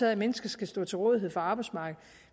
af at mennesker skal stå til rådighed for arbejdsmarkedet